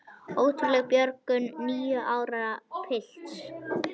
Ótrúleg björgun níu ára pilts